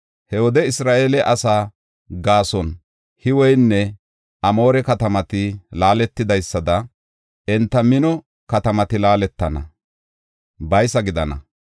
He wode Isra7eele asaa gaason Hiwenne Amoore katamati laaletidaysada enta mino katamati laaletana; baysa gidana.